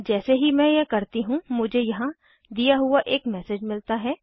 जैसे ही मैं यह करती हूँ मुझे यहाँ दिया हुआ एक मैसेज मिलता है